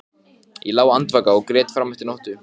Ásdís mamma, tautaði hún og togaði í hárið á sér.